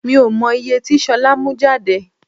Mi ò mọ ìye tí ṣolá mú jáde.